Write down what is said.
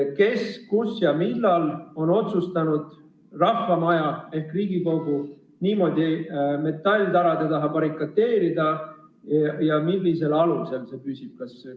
Kes, kus ja millal on otsustanud rahva maja ehk Riigikogu niimoodi metalltara taha barrikadeerida ja millisel alusel see püsib?